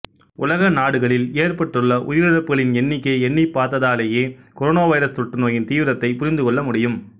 உலக நாடுகளில் ஏற்பட்டுள்ள உயிரிழப்புகளின் எண்ணிக்கையை எண்ணிப்பார்த்தாலேயே கொரோனாவைரசு தொற்றுநோயின் தீவிரத்தைப் புரிந்து கொள்ள முடியும்